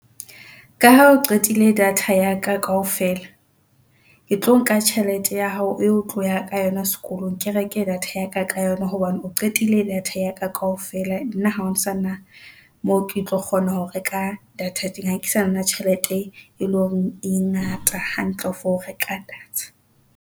Ka ha o qetile data ya ka kaofela, ke tlo nka tjhelete ya hao eo o tloya ka yona sekolong ke reke data ya ka ka yona hobane o qetile data ya ka kaofela. Nna ha o sana moo, ke tlo kgona ho reka data teng ha ke sana tjhelete, e leng hore e ngata hantle for ho reka data.